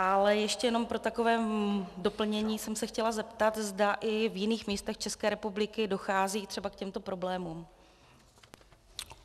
Ale ještě jenom pro takové doplnění jsem se chtěla zeptat, zda i v jiných místech České republiky dochází třeba k těmto problémům.